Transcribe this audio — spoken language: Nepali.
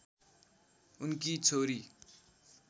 उनकी छोरी